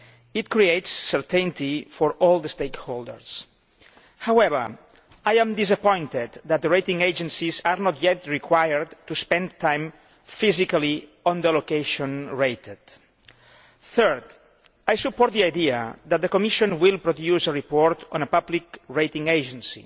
It creates certainty for all the stakeholders. However, I am disappointed that the rating agencies are not yet required to spend time physically on the location rated. Thirdly, I support the idea that the Commission will produce a report on a public rating agency,